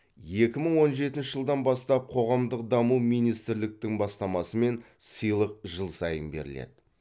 екі мың он жетінші жылдан бастап қоғамдық даму министрліктің бастамасымен сыйлық жыл сайын беріледі